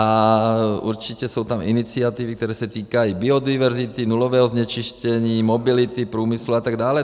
A určitě jsou tam iniciativy, které se týkají biodiverzity, nulového znečištění, mobility průmyslu a tak dále.